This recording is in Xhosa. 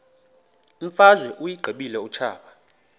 imfazwe uyiqibile utshaba